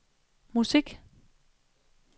musik